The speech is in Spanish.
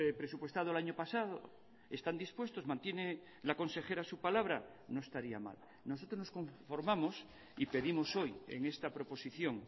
presupuestado el año pasado están dispuestos mantiene la consejera su palabra no estaría mal nosotros nos conformamos y pedimos hoy en esta proposición